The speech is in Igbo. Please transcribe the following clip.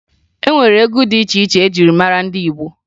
E nwere egwu dị iche iche eji mara ndị Igbo